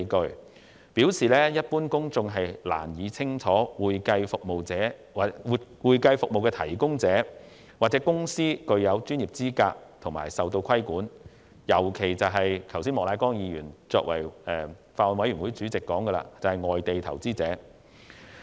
他表示，一般公眾難以明白會計服務提供者或公司具有的專業資格和所受到的規管，尤其是剛才法案委員會主席莫乃光議員所指的外地投資者。